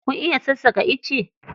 Kun iya sassaƙa ice?